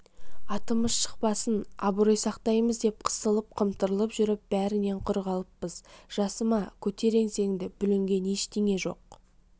атымыз шықпасын абырой сақтаймыз деп қысылып-қымтырылып жүріп бәрінен құр қалыппыз жасыма көтер еңсеңді бүлінген ештеңе жоқ